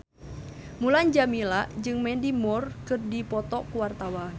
Mulan Jameela jeung Mandy Moore keur dipoto ku wartawan